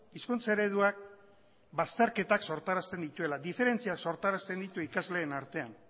hizkuntza ereduak bazterketak sortarazten dituela diferentziak sortarazten ditu ikasleen artean